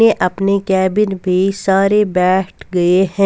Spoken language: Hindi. ने अपने कैबिन में सारे बैठ गए हैं.